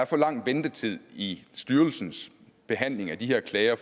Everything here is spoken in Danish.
for lang ventetid i styrelsens behandling af de her klager